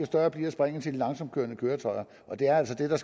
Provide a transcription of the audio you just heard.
større bliver springet til de langsomt kørende køretøjer og det er altså det der